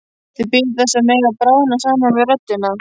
Þau bíða þess að mega bráðna saman við röddina.